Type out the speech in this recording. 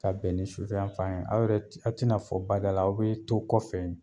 Ka bɛn ni sufɛ yanfan ye, aw yɛrɛ t aw ti na fɔ bada la aw bee to kɔfɛ yen